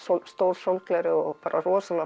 stór sólgleraugu og bara rosalega flott